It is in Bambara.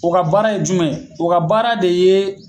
O ga baara ye jumɛn ye o ka baara de yee